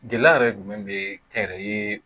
Gɛlɛya yɛrɛ jumɛn be kɛn yɛrɛ ye